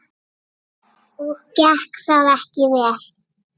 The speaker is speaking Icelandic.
Og gekk það ekki vel.